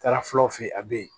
Taara fulaw fe ye a be ye